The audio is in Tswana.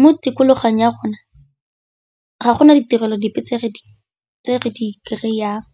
Mo tikologong ya gona ga gona ditirelo dipe tse re di kry-ang.